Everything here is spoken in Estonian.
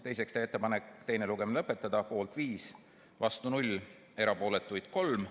Teiseks, teha ettepanek teine lugemine lõpetada, poolt oli 5, vastu 0, erapooletuid 3.